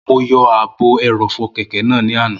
Mo yọ ààbò ẹrọ̀fọ̀ kẹ̀kẹ́ náà ní àná